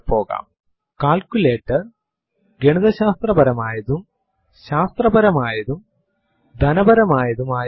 echo space hello world എന്ന് prompt ൽ type ചെയ്തു എന്റർ അമർത്തുക